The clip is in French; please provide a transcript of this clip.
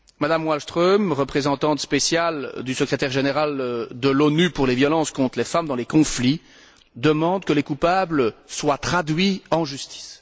Mme Wallström, représentante spéciale du secrétaire général de l'ONU pour les violences contre les femmes dans les conflits, demande que les coupables soient traduits en justice.